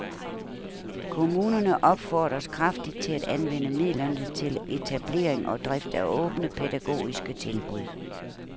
Kommunerne opfordres kraftigt til at anvende midlerne til etablering og drift af åbne pædagogiske tilbud.